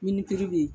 Ni piri bɛ yen